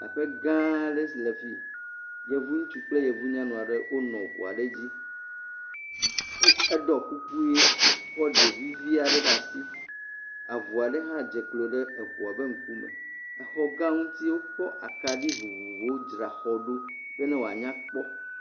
Aƒe gã ɖe enye esi le fii. Yevu ŋutsu kple yevu nyɔnu aɖe wonɔ ʋu aɖe dzi, eɖo kuku ɣi kɔ ɖevi vi aɖe ɖe asi. Avu aɖe hã dze klo ɖe eʋua ƒe ŋkume. Exɔ gã ŋuti wokɔ akaɖi vovovowo dzra xɔɖo bene wòa nya kpɔ.